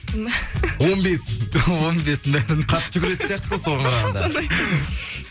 он бесін он бесін бәрін қатты жүгіретін сияқтысыз ғой соған қарағанда соны